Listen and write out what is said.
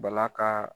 Bala ka